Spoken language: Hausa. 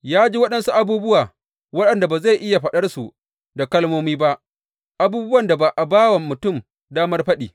Ya ji waɗansu abubuwa waɗanda ba zai iya faɗarsu da kalmomi ba, abubuwan da ba a ba wa mutum damar faɗi.